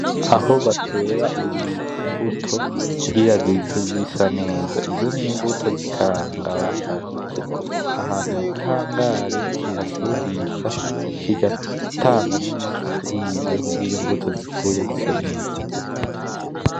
Aho batera ibi mbuto kugira zize zisa neza. Izo n'imbuto zikaranga basharije, ahantu mugi hangare kihashuhishe, kigatanga numuco kurivyo kugira imbuto zikure zise neza.